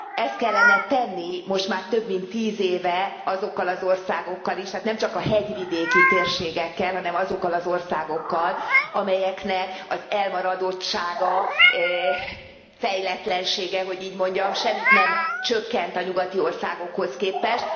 Ezt kellene tenni most már több mint tíz éve azokkal az országokkal is, tehát nem csak a hegyvidéki térségekkel, hanem azokkal az országokkal, amelyeknek az elmaradottsága, fejletlensége hogy így mondjam semmit nem csökkent a nyugati országokhoz képest.